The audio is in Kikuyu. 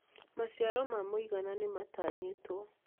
Maciaro ma mũigana nĩmatanyĩtwo